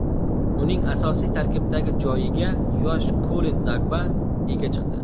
Uning asosiy tarkibdagi joyiga yosh Kolen Dagba ega chiqdi.